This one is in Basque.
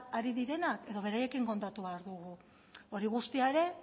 ari direnak edo beraiekin kontatu behar dugu hori guztia ere